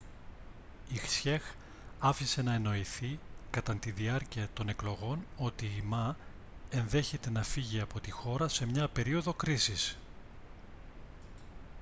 η hsieh άφησε να εννοηθεί κατά τη διάρκεια των εκλογών ότι η ma ενδέχεται να φύγει από τη χώρα σε μια περίοδο κρίσης